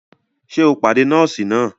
Ṣe o pàdé nọọsi nàá?